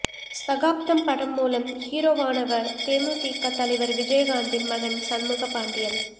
சகாப்தம் படம் மூலம் ஹீரோவானவர் தேமுதிக தலைவர் விஜயகாந்தின் மகன் சண்முகப் பாண்டியன்